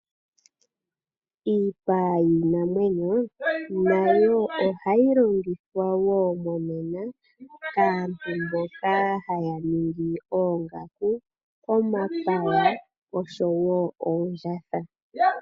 Iipa yiinamwenyo nayo ohayi longithwa qoo monena kaantu mboka haya ningi oongaku ,omapaya oshowo oondjatha.